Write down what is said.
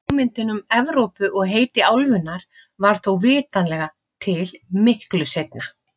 Hugmyndin um Evrópu og heiti álfunnar varð þó vitanlega til miklu seinna.